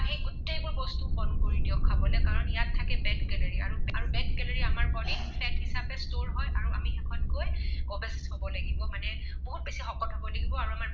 গোটেইবোৰ বস্তু বন্ধ কৰি দিয়ক খাবলৈ কাৰণ ইয়াত থাকে bad calorie আৰু bad calorie আমাৰ body ত fat হিচাপে store হয় আৰু শেষত গৈ obsess হব লাগিব মানে বহুত বেছি শকত হব লাগিব আৰু আমাৰ